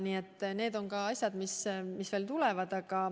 Nii et need on asjad, mis veel tulevad.